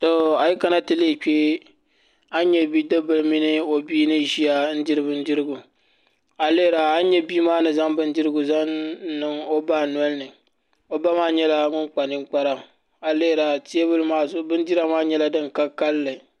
Ayo nyɛ bi dibil mini oba n ziya a yi lihira a ni nyɛ ka bii niŋdi nudirigu n niŋdi ɔ ba nolini o ba maa nnyɛla ŋun kpa ninkpara ayi lihira bindira maa nyɛla din ka kalili